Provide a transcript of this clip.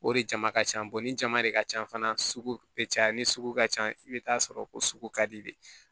O de jama ka ca ni jama de ka ca fana sugu bɛ caya ni sugu ka ca i bɛ taa sɔrɔ o sugu ka di de ye